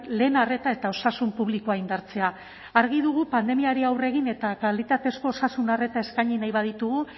lehen arreta eta osasun publikoa indartzea argi dugu pandemiari aurre egin eta kalitatezko osasun arreta eskaini nahi baditugu